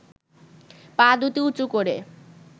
পা দুটি উঁচু করে